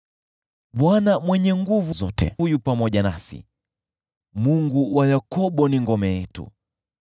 Bwana Mwenye Nguvu Zote yu pamoja nasi, Mungu wa Yakobo ni ngome yetu.